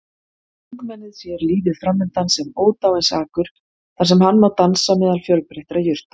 Ungmennið sér lífið framundan sem ódáinsakur þar sem hann má dansa meðal fjölbreyttra jurta.